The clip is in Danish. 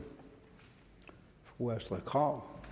fru astrid krag